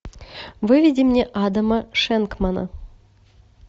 выведи мне адама шенкмана